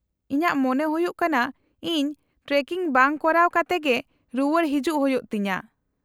-ᱤᱧᱟᱹᱜ ᱢᱚᱱᱮ ᱦᱩᱭᱩᱜ ᱠᱟᱱᱟ ᱤᱧ ᱴᱨᱮᱠᱤᱝ ᱵᱟᱝ ᱠᱚᱨᱟᱣ ᱠᱟᱛᱮ ᱜᱮ ᱨᱩᱣᱟᱹᱲ ᱦᱮᱡᱩᱜ ᱦᱩᱭᱩᱜ ᱛᱤᱧᱟᱹ ᱾